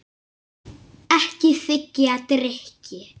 Ekki þiggja drykki.